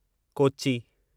Kochi